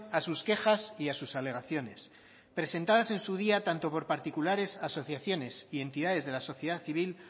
a sus quejas y a sus alegaciones presentadas en su día tanto por particulares asociaciones y entidades de la sociedad civil